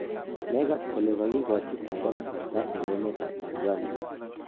megase kole kagigachi kwando kasarta en emet ap Tanzania?